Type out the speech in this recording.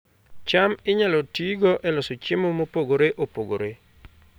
cham inyalo tigo e loso chiemo mopogore opogore